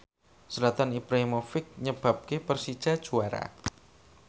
Zlatan Ibrahimovic nyebabke Persija juara